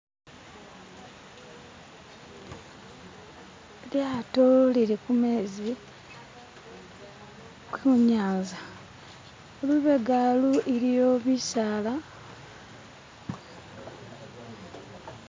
lyato lilikumezi kunyanza lubegalu iliyo bisaala